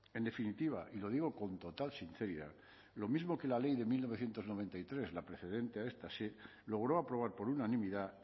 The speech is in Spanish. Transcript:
en definitiva y lo digo con total sinceridad lo mismo que la ley de mil novecientos noventa y tres la precedente a esta se logró aprobar por unanimidad